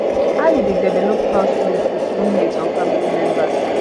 how you dey develop house rules with roommate or family members